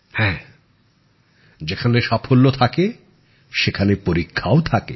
হ্যাঁ যেখানে সাফল্য থাকে সেখানে পরীক্ষাও থাকে